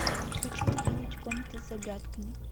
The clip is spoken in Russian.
хочу увидеть комната с загадками